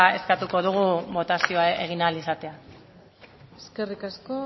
eskatuko dugu botazioa egin ahal izatea eskerrik asko